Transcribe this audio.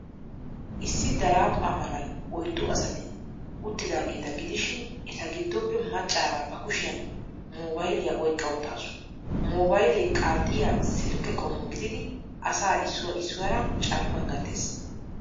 Issi daraphpha malan oyddu asati uttidaageeta gidishin, eta giddoppe maccaara bakushiyan mobayiliyaa oyqqa uttaasu. Mobaylee qaaxxiya silkke qommo gididi asaa issuwaa issuwaara carkkuwan gattees.